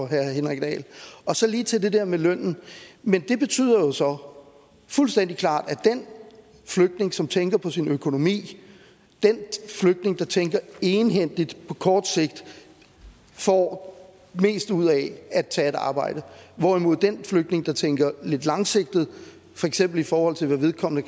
herre henrik dahl så lige til det der med lønnen det betyder jo så fuldstændig klart at den flygtning som tænker på sin økonomi den flygtning der tænker egenhændigt på kort sigt får mest ud af at tage et arbejde hvorimod den flygtning der tænker lidt langsigtet for eksempel i forhold til hvad vedkommende